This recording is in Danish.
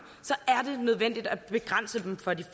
er det nødvendigt at begrænse dem for de